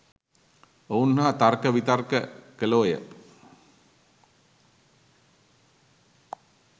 ඔවුන් හා තර්ක විතර්ක කළෝය.